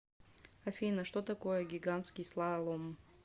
афина что такое гигантский слалом